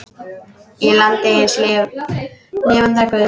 Í landi hins lifanda guðs.